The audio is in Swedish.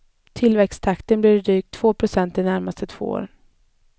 Tillväxttakten blir drygt två procent de närmaste två åren.